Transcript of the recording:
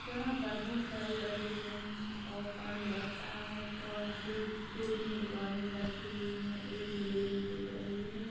यहाँ पर बहुत सारी बस दिख रही हैं और पानी बरस रहा है और यहाँ पे दो तीन दुकान भी रखी हुई हैं। एक लेडीज दिख रही है।